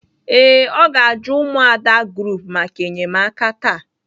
Ee, o ga-aju umuada group maka enyemaka taa.